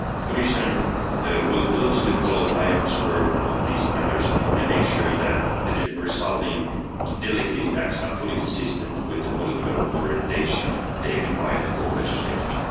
The Commission will closely follow EIOPA's work on these matters and make sure that the resulting delegated acts are fully consistent with the political orientation taken by the co legislators.